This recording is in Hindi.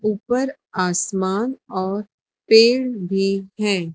ऊपर आसमान और पेड़ भी है।